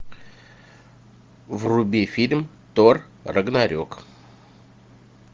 вруби фильм тор рагнарек